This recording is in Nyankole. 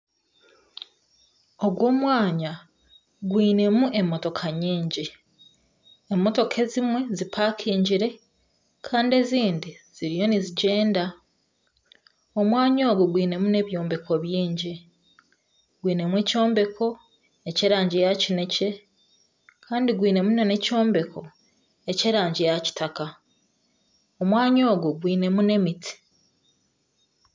Ogu omwanya gwinemu emotoka nyingi ,emotoka ezimwe zipakingire, kandi ezindi ziriyo nizigyenda, omwanya ogu gwinemu nana ebyombeko bingi, gwinemu ekyombeko eky'erangi ya kinekye kandi gwinemu nana ekyombeko ky'erango ya kitaka ,omwanya ogu gwinemu nana emiti.